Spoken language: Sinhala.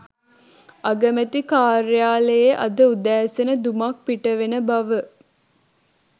අගමැති කාර්යාලයේ අද උදෑසන දුමක් පිටවෙන බව